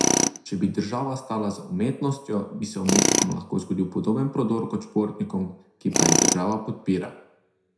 Če bi država stala za umetnostjo, bi se umetnikom lahko zgodil podoben prodor kot športnikom, ki pa jih država podpira!